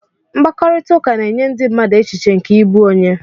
Mkpakọrịta na-enye ndị mmadụ echiche nke ịbụ onye.